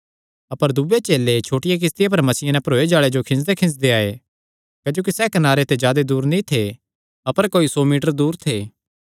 अपर दूये चेले छोटिया किस्तिया पर मच्छियां नैं भरोये जाल़े जो खींजदेखींजदे आये क्जोकि सैह़ कनारे ते जादा दूर नीं थे अपर कोई सौ मीटर दूर थे